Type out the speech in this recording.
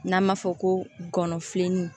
N'an b'a fɔ ko gɔnɔfilini